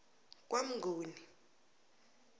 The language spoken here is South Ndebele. kwamnguni